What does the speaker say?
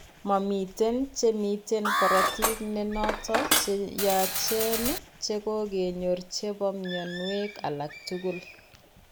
Mamiten che miten korotiik ne notot che yachen che kokenyor che po mnyanweek alak tugul.